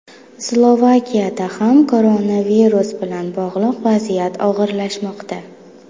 Slovakiyada ham koronavirus bilan bog‘liq vaziyat og‘irlashmoqda .